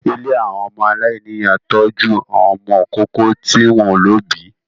Ilé àwọn ọmọ aláìníyà ń tọ́jú àwọn ọmọ ìkókó tí wọ́n ò lóbìí